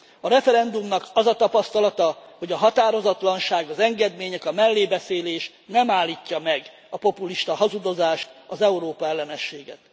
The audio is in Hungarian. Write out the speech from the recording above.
A referendumnak az a tapasztalata, hogy a határozatlanság, az engedmények, a mellébeszélés nem állítja meg a populista hazudozást, az Európa ellenességet.